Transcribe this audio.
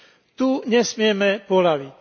Tu nesmieme poľaviť.